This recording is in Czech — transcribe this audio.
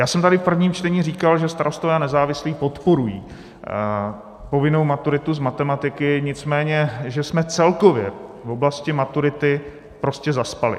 Já jsem tady v prvním čtení říkal, že Starostové a nezávislí podporují povinnou maturitu z matematiky, nicméně že jsme celkově v oblasti maturity prostě zaspali.